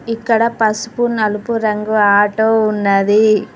ఇక్కడ పసుపు నలుపు రంగు ఆటో ఉన్నది.